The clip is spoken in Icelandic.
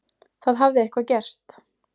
Það hafði eitthvað gerst.